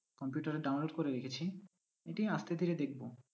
Computer এ download করে রেখেছি এটি আজকে থেকে দেখব।